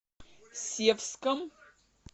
севском